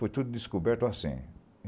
Foi tudo descoberto assim.